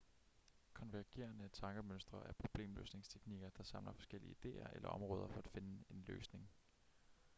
konvergerende tankemønstre er problemløsningsteknikker der samler forskellige idéer eller områder for at finde en løsning